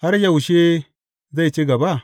Har yaushe zai ci gaba?